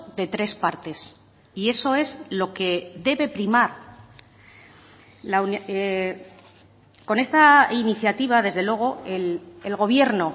de tres partes y eso es lo que debe primar con esta iniciativa desde luego el gobierno